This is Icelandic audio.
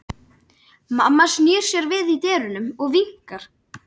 Mamma snýr sér við í dyrunum og vinkar.